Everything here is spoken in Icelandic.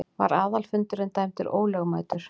Var aðalfundurinn dæmdur ólögmætur.